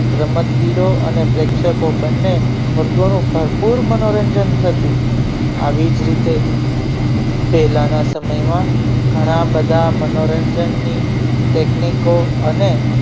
રમતવીરો અને પ્રેક્ષકો બંને વર્ગોનો ભરપૂર મનોરંજન થતું આવી જ રીતે પહેલાના સમયમાં ઘણા બધા મનોરંજનની technico અને